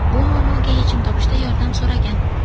Bu muammoga yechim topishda yordam so‘ragan.